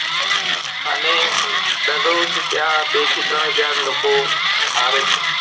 અને દરરોજ ત્યાં બે થી ત્રણ હાજર લોકો આવે છે